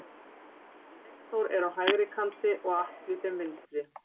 Steinþór er á hægri kanti og Atli þeim vinstri.